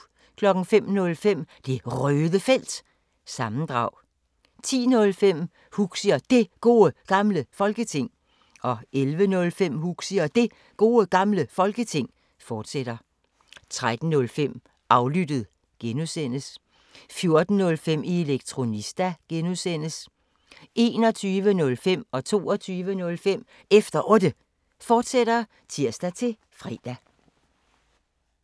05:05: Det Røde Felt – sammendrag 10:05: Huxi og Det Gode Gamle Folketing 11:05: Huxi og Det Gode Gamle Folketing, fortsat 13:05: Aflyttet (G) 14:05: Elektronista (G) 21:05: Efter Otte, fortsat (tir-fre) 22:05: Efter Otte, fortsat (tir-fre)